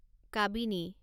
Kabini